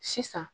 Sisan